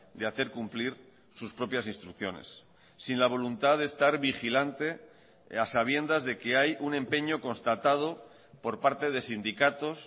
de hacer cumplir sus propias instrucciones sin la voluntad de estar vigilante a sabiendas de que hay un empeño constatado por parte de sindicatos